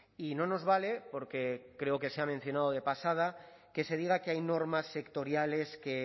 y no nos vale porque creo que se ha mencionado de pasada que se diga que hay normas sectoriales que